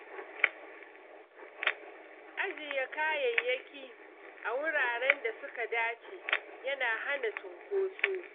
Ajiye kayayyaki a wuraren da suka dace yana hana cunkoso.